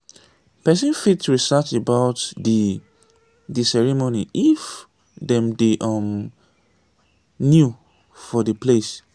person fit research about di di ceremony if dem dey um new for di place